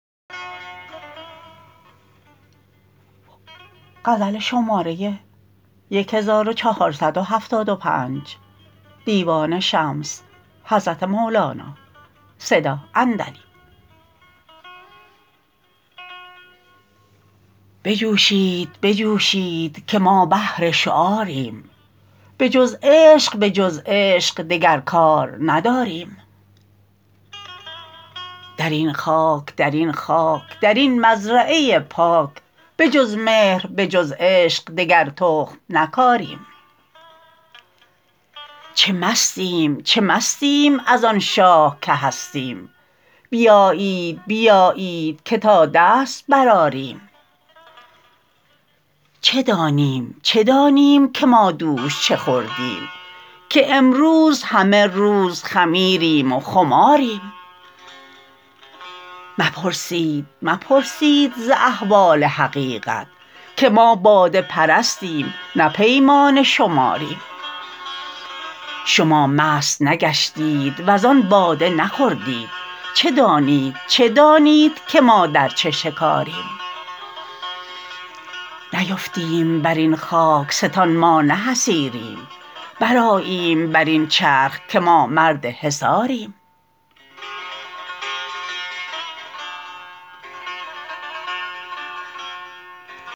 بجوشید بجوشید که ما اهل شعاریم بجز عشق به جز عشق دگر کار نداریم در این خاک در این خاک در این مزرعه پاک به جز مهر به جز عشق دگر تخم نکاریم چه مستیم چه مستیم از آن شاه که هستیم بیایید بیایید که تا دست برآریم چه دانیم چه دانیم که ما دوش چه خوردیم که امروز همه روز خمیریم و خماریم مپرسید مپرسید ز احوال حقیقت که ما باده پرستیم نه پیمانه شماریم شما مست نگشتید وزان باده نخوردید چه دانید چه دانید که ما در چه شکاریم نیفتیم بر این خاک ستان ما نه حصیریم برآییم بر این چرخ که ما مرد حصاریم